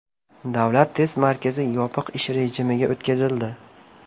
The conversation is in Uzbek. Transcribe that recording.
Davlat test markazi yopiq ish rejimiga o‘tkazildi.